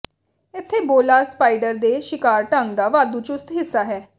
ਇੱਥੇ ਬੋਲਾ ਸਪਾਈਡਰ ਦੇ ਸ਼ਿਕਾਰ ਢੰਗ ਦਾ ਵਾਧੂ ਚੁਸਤ ਹਿੱਸਾ ਹੈ